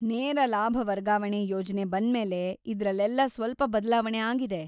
ನೇರ ಲಾಭ ವರ್ಗಾವಣೆ ಯೋಜನೆ ಬಂದ್ಮೇಲೆ ಇದ್ರಲ್ಲೆಲ್ಲ ಸ್ವಲ್ಪ ಬದ್ಲಾವಣೆ ಆಗಿದೆ.